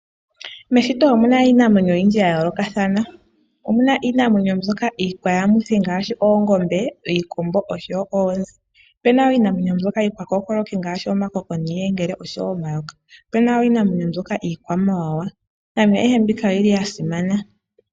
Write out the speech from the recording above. Meshito omu na iinamwenyo oyindji ya yoolokathana. Omu na iinamwenyo mbyoka hayi yamitha ngaashi:oongombe ,iikombo oshowo oonzi. Ope na wo iinamwenyo mbyoka iikwakookoloki ngaashi omakoko niiyengeleo oshowo omayoka. Ope na iinamwenyo mbyoka iikwamawawa. Iinamwenyo ayihe mbika oyi li ya simana.